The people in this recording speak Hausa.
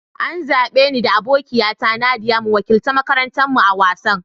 An zabe ni da abokiya ta Nadiya mu wakiltar makarantan mu a'wasan.